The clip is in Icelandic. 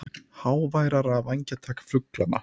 Háværara vængjatak fuglanna.